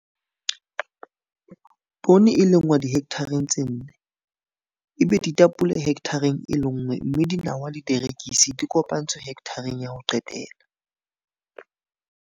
Poone e lengwa dihekthareng tse nne, ebe ditapole hekthareng e lenngwe mme dinawa le dierekisi di kopantswe hekthareng ya ho qetela.